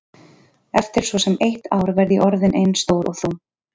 Eftir svo sem eitt ár verð ég orðin eins stór og þú.